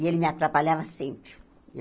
E ele me atrapalhava sempre.